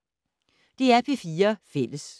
DR P4 Fælles